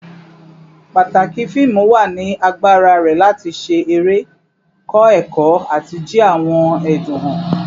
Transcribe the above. Pataki fiimu wa ni agbara rẹ lati ṣe ere, kọ ẹkọ, ati ji awọn ẹdun han